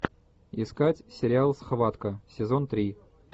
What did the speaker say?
искать сериал схватка сезон три